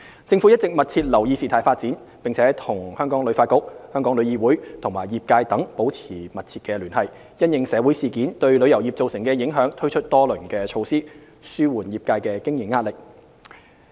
政府一直密切留意事態發展，並與香港旅遊發展局、香港旅遊業議會及業界等保持密切聯繫，因應社會事件對旅遊業造成的影響推出多輪措施，紓緩業界的經營壓力。